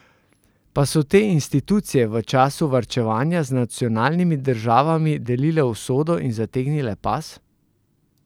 Pa so te institucije v času varčevanja z nacionalnimi državami delile usodo in zategnile pas?